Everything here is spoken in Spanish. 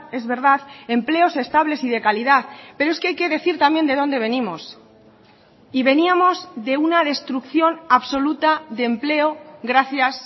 es verdad empleos estables y de calidad pero es que hay que decir también de dónde venimos y veníamos de una destrucción absoluta de empleogracias